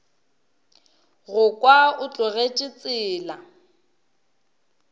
go kwa o tlogetše tsela